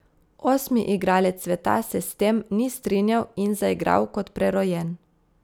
Osmi igralec sveta se s tem ni strinjal in zaigral kot prerojen.